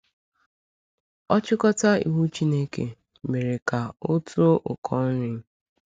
Ọchịkọta iwu Chineke mere ka ọ too ụkọ nri?